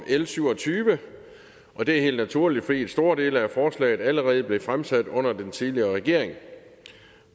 l syv og tyve og det er helt naturligt fordi store dele af forslaget allerede blev fremsat under den tidligere regering